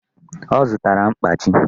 Ọ zụtara mkpachi